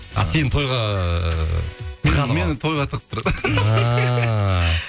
а сені тойға тығады ғой мені тойға тығып тұрады ааа